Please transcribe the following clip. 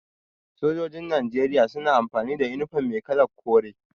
Sojojin Najeriya suna amfani da inifom mai kalar kore.